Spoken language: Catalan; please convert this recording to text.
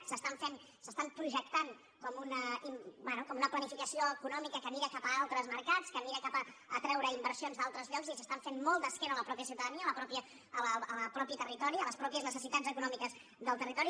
s’estan projectant bé com una planificació econòmica que mira cap a altres mercats que mira cap a atreure inversions d’altres llocs i s’estan fent molt d’esquena a la mateixa ciutadania al mateix territori a les mateixes necessitats econòmiques del territori